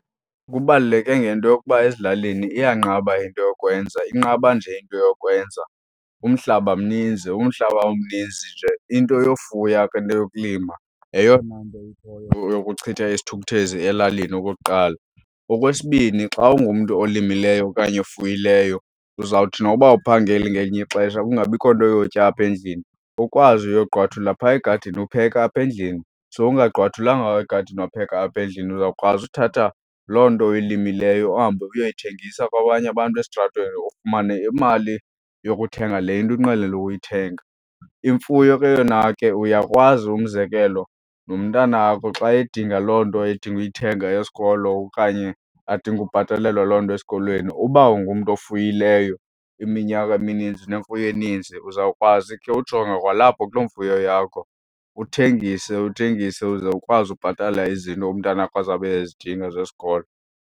Kubaluleke ngento yokuba ezilalini iyanqaba into yokwenza. Inqaba nje into yokwenza umhlaba mninzi. Umhlaba umninzi nje into yofuya ke neyokulima yeyona nto ikhoyo yokuchitha isithukuthezi elalini okokuqala. Okwesibini xa ungumntu olimileyo okanye ofuyileyo, uzawuthi noba awuphangeli ngelinye ixesha kungabikho nto yotya apha endlini ukwazi uyogqwathula pha egadini upheke apha endlini. Sowungagqwathulanga egadini wapheka apha endlini uzawukwazi uthatha loo nto oyilimileyo uhambe uyoyithengisa kwabanye abantu esitratweni ufumane imali yokuthenga le into unqwenela ukuyithenga. Imfuyo ke yona ke uyakwazi umzekelo nomntanakho xa edinga loo nto adinga uyithenga yesikolo okanye adinge ubhatalelwa loo nto esikolweni, uba ungumntu ofuyileyo iminyaka emininzi, unemfuyo eninzi, uzawukwazi ke ujonga kwalapho kuloo mfuyo yakho uthengise, uthengise, uze ukwazi ubhatala izinto umntanakho azawube ezidinga zesikolo.